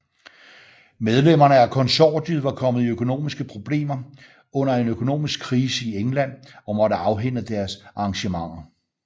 Medlemmer af konsortiet var kommet i økonomiske problemer under en økonomiske krise i England og måtte afhænde deres arrangementer